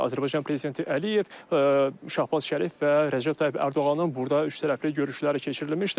Azərbaycan prezidenti Əliyev, Şahbaz Şərif və Rəcəb Tayyib Ərdoğanın burda üçtərəfli görüşləri keçirilmişdi.